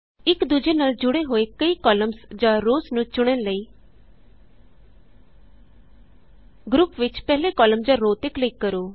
ਇਕ ਦੂਜੇ ਨਾਲ ਜੁੜੇ ਹੋਏ ਕਈ ਕਾਲਮਸ ਜਾਂ ਰੋਅਸ ਨੂੰ ਚੁਣਨ ਲਈ ਗਰੁਪ ਵਿਚ ਪਹਿਲੇ ਕਾਲਮ ਜਾਂ ਰੋਅ ਤੇ ਕਲਿਕ ਕਰੋ